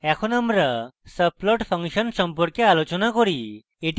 এখন আমরা subplot function সম্পর্কে আলোচনা করি